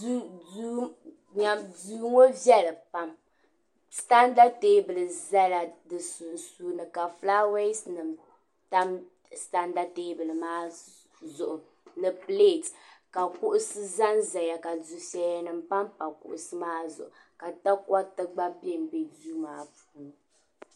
Duu ŋɔ viɛli pam santa teebuli zala di sunsuuni ka filaawaasi nima tam santa teebuli maa zuɣu ni pileti ka kuɣusi zanzaya ka dufeya nima pampa kuɣusi maa zuɣu ka takoriti gba be duu maa puuni.